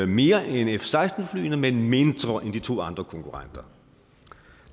mere end f seksten flyene men mindre end de to andre konkurrenter